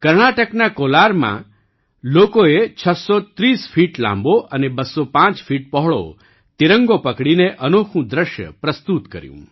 કર્ણાટકના કોલારમાં લોકોએ ૬૩૦ ફીટ લાંબો અને ૨૦૫ ફીટ પહોળો તિરંગો પકડીને અનોખું દૃશ્ય પ્રસ્તુત કર્યું